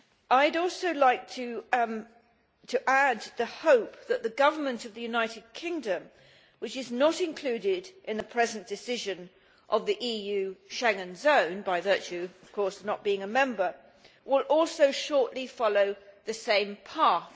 I would also like to add the hope that the Government of the United Kingdom which is not included in the present decision of the EU Schengen zone by virtue, of course, of not being a member will also shortly follow the same path.